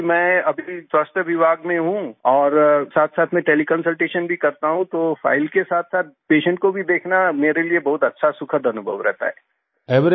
क्योंकि मैं अभी स्वास्थ्य विभाग में हूँ और साथसाथ में तेले कंसल्टेशन भी करता हूँ तो फाइल के साथसाथ पेशेंट को भी देखना मेरे लिए बहुत अच्छा सुखद अनुभव रहता है